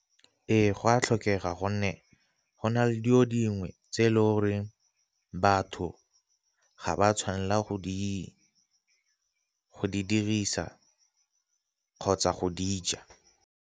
Ee, go tlhokega gonne go na le dilo dingwe tse e le goreng batho ga ba tshwanela go di dirisa kgotsa go dija.